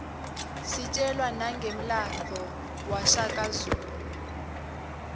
sitjelwa nangemlandvo washaka zulu